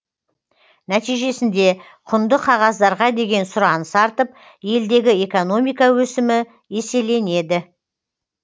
нәтижесінде құнды қағаздарға деген сұраныс артып елдегі экономика өсімі еселенеді